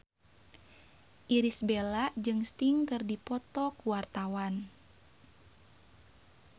Irish Bella jeung Sting keur dipoto ku wartawan